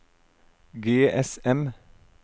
GSM